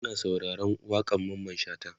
Muna sauraron waƙan Mamman shata